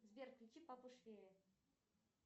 сбер включи папу швея